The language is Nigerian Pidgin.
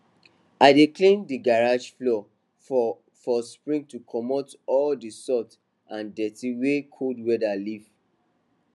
i dey clean d garage floor for for spring to comot all d salt and dirty wey cold weather leave